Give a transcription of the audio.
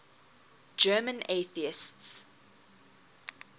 german atheists